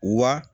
Wa